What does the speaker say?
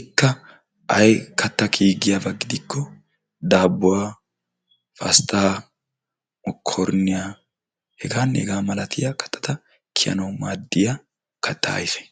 Ikka ay katta kiyi giyaaba gidikko daabuwaa, pastta, mokoriniyaaheganne hega milatiyaa kattata kiyanaw maaddiyaa kattaa ayge.